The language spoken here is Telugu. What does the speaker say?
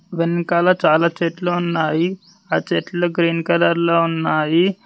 వెనకాల చాలా చెట్లు ఉన్నాయి ఆ చెట్లు గ్రీన్ కలర్ లో ఉన్నాయి.